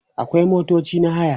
akwai motoci na haya